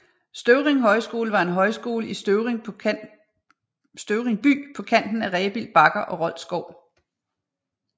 Støvring Højskole var en højskole i Støvring by på kanten af Rebild Bakker og Rold Skov